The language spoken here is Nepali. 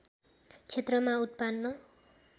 क्षेत्रमा उत्पन्न